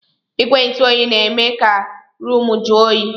Igwe ntụ oyi na-eme ka ruumu ju oyi.